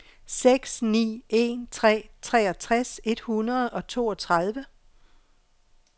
seks ni en tre treogtres et hundrede og toogtredive